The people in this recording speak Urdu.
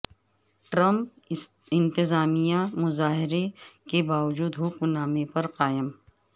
ٹرمپ انتظامیہ مظاہروں کے باوجود حکم نامے پر قائم